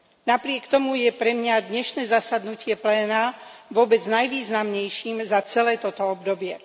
Napriek tomu je pre mňa dnešné zasadnutie pléna vôbec najvýznamnejším za celé toto obdobie.